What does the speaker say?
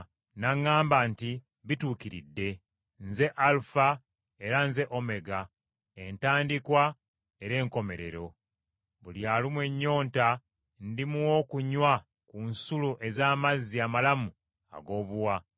N’aŋŋamba nti, “Bituukiridde, Nze Alufa era nze Omega, Entandikwa era Enkomerero. Buli alumwa ennyonta ndimuwa okunywa ku nsulo ez’amazzi amalamu, ag’obuwa.